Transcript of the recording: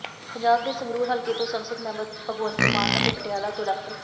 ਪੰਜਾਬ ਦੇ ਸੰਗਰੂਰ ਹਲਕੇ ਤੋਂ ਸੰਸਦ ਮੈਂਬਰ ਭਗਵੰਤ ਮਾਨ ਅਤੇ ਪਟਿਆਲਾ ਤੋਂ ਡਾ